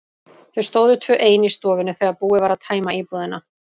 Þau stóðu tvö ein í stofunni þegar búið var að tæma íbúðina.